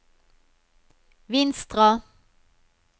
Vinstra